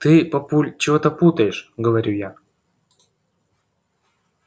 ты папуль чего-то путаешь говорю я